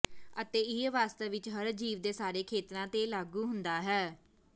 ਅਤੇ ਇਹ ਵਾਸਤਵ ਵਿੱਚ ਹਰ ਜੀਵ ਦੇ ਸਾਰੇ ਖੇਤਰਾਂ ਤੇ ਲਾਗੂ ਹੁੰਦਾ ਹੈ